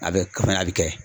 A bɛ kɛ